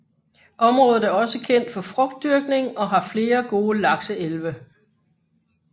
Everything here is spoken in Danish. Området er også kendt for frugtdyrkning og har flere gode lakseelve